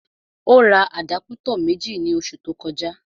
Ó ra àdápútọ̀ méjì ní oṣù tó kọjá